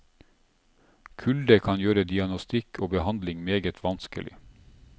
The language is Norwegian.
Kulde kan gjøre diagnostikk og behandling meget vanskelig.